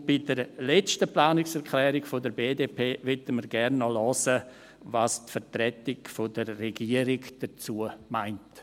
Und bei der letzten Planungserklärung, jener der BDP, möchten wir gerne noch hören, was die Vertretung der Regierung dazu meint.